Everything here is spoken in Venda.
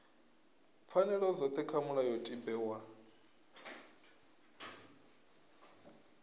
pfanelo dzothe kha mulayotibe wa